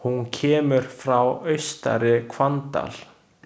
Hún kemur frá Austari-Hvanndal.